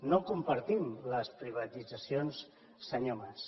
no compartim les privatitzacions senyor mas